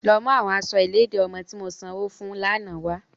Lọ mu awọn aṣọ iledi ọmọ ti mo sanwo fun lana wa!